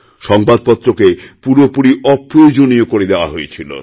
সংবাদপত্রকে পুরোপুরি অপ্রয়োজনীয় করে দেওয়াহয়েছিল